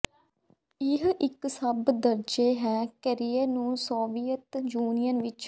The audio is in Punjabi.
ਇਹ ਇੱਕ ਸਭ ਦਰਜੇ ਹੈ ਕੈਰੀਅਰ ਨੂੰ ਸੋਵੀਅਤ ਯੂਨੀਅਨ ਵਿਚ